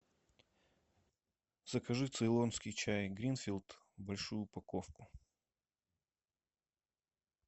закажи цейлонский чай гринфилд большую упаковку